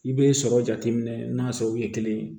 I bɛ sɔrɔ jateminɛ n'a sɔrɔ u ye kelen ye